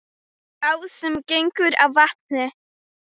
Sá sem gengur á vatni